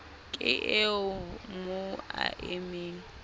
ke eo mo a emeng